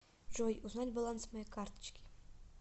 джой узнать баланс моей карточки